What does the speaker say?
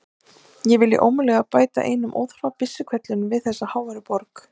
Ég vilji ómögulega bæta enn einum óþarfa byssuhvellinum við þessa háværu borg.